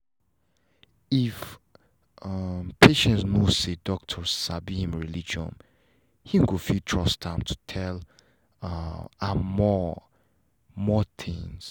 if um patients know say doctor sabi him religion he go fit trust am to tell um am more more tins